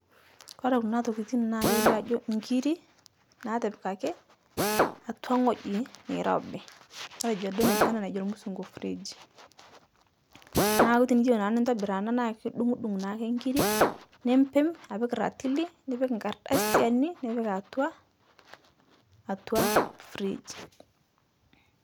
Kore kuna tokitin naa kelio ajo ngiri, naatipikaki atwa ng'oji neirobi, matejo duo ana najo lmusungu fridge, naaku tiniyeu naa nintobir ana naa idung'uduung' naake ngiri nimpim apik ratili nipik nkardasiani nipik aatwa atwa fridge